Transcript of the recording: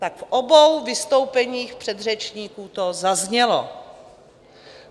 Tak v obou vystoupeních předřečníků to zaznělo.